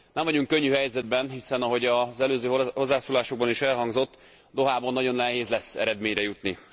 Nem vagyunk könnyű helyzetben, hiszen ahogy az előző hozzászólásokban is elhangzott Dohában nagyon nehéz lesz eredményre jutni.